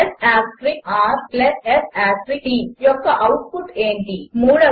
s r s t యొక్క output ఏమిటి